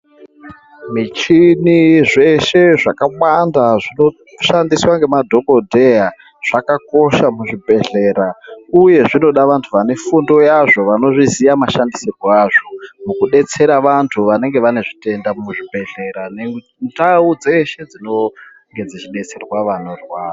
Michini zveshe zvakawanda zvinoshandiswa nemadhokoteya zvakakosha muchibhohleya uye zvinoda antu ane fundo yazvo anozviziva mashandisirwo azvo mukudetsera antu anenge ane zvitenda muzvibhedhlera ngendau dzeshe dzinodetserwa anorwara.